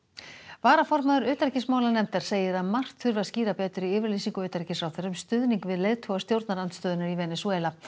varaformaður utanríkismálanefndar segir að margt þurfi að skýra betur í yfirlýsingu utanríkisráðherra um stuðning við leiðtoga stjórnarandstöðunnar í Venesúela